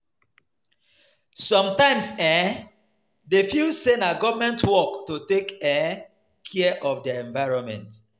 Sometimes dem um dey feel sey na government work to take um care of their environment